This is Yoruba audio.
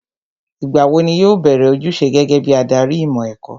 Ìgbà wo ni yóò bẹ̀rẹ̀ ojúṣe gẹ́gẹ́ bí adarí ìmọ̀ ẹ̀kọ́?